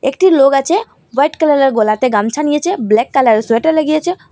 একটি লোক আচে হোয়াইট কালারের গলাতে গামছা নিয়েচে ব্ল্যাক কালারের সোয়েটার লাগিয়েচে।